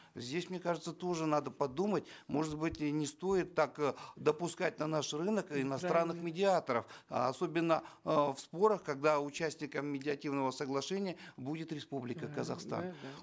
здесь мне кажется тоже надо подумать может быть и не стоит так э допускать на наш рынок иностранных медиаторов особенно э в спорах когда участником медиативного соглашения будет республика казахстан